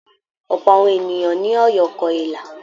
Ọ̀pọ̀ àwọn ènìyàn ní Ọ̀yọ́ kọ ilà.